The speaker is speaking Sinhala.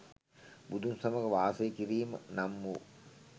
බුදුන් සමග වාසය කිරීම නම් වූ